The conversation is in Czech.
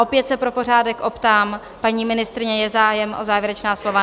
Opět se pro pořádek optám, paní ministryně, je zájem o závěrečná slova?